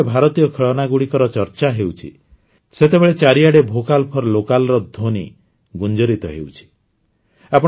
ଆଜି ଯେତେବେଳେ ଭାରତୀୟ ଖେଳନାଗୁଡ଼ିକର ଚର୍ଚ୍ଚା ହେଉଛି ସେତେବେଳେ ଚାରିଆଡ଼େ ଭୋକାଲ ଫର ଲୋକାଲ ର ଧ୍ୱନି ଗୁଞ୍ଜରିତ ହେଉଛି